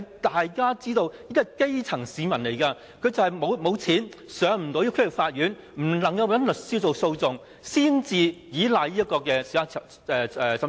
大家都知道，基層市民沒有錢，不能找律師上區域法院進行訴訟，只能依賴審裁處。